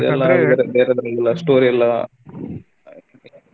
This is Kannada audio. ಇದೆಲ್ಲಾ ಬೇರೆ ಬೇರೆ story ಎಲ್ಲಾ .